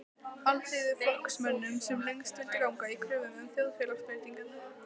Alþýðuflokksmönnum, sem lengst vildu ganga í kröfum um þjóðfélagsbreytingar.